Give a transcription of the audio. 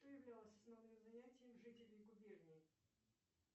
что являлось основным занятием жителей губернии